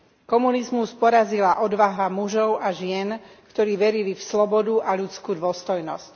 Komunizmus porazila odvaha mužov a žien, ktorí verili v slobodu a ľudskú dôstojnosť.